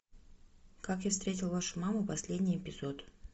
как я встретил вашу маму последний эпизод